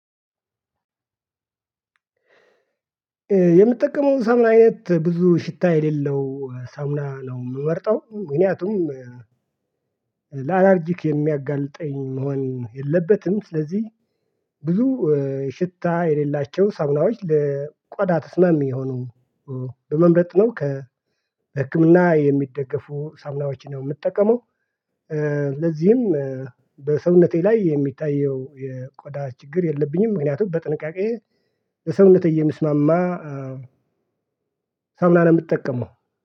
የምትጠቀመው ሳሙና አይነት ብዙ ሽታ የሌለው ሳሙና ነው የምመርጠው ምክንያቱም ላላርጂክ የሚያጋልጠኝ መሆን የለበትም። ስለዚህ ብዙ ሽታ የሌላቸው ሳሙናዎች ለቆዳ ተስማሚ የሆኑ በመምረጥ ነው። ከ ህክምና የሚደገፉ ሳሙናዎችን የምትጠቀመው። ለዚህም በሰውነቴ ላይ የሚታየው የቆዳ ችግር የለብኝም። ምክንያቱም በጥንቃቄ ለሰውነቴ እየሚስማማ። ሳሙና ነው የምትጠቀመው